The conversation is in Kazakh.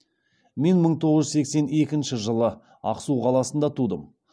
мен мың тоғыз жүз сексен екінші жылы ақсу қаласында тудым